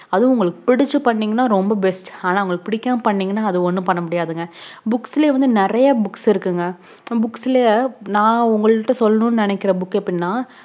அதும் உங்களுக்கு புடிச்சு பண்ணீங்கன ரொம்ப best ஆனா அத புடிக்காம பண்ணீங்கன ஒனேணுமே பன்னமுடியாதுங் books லே வந்து நெறைய books இருக்குங்க நம books லையே நான் உங்க கிட்ட சொல்லணும் நெனைக்குற book எப்படினா